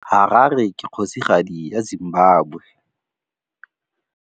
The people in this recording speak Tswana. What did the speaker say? Harare ke kgosigadi ya Zimbabwe.